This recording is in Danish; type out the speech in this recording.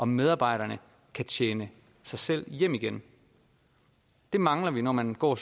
medarbejderne kan tjene sig selv hjem igen det mangler vi når man går